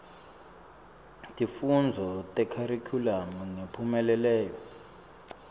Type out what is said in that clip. tifundvo tekharikhulamu ngemphumelelo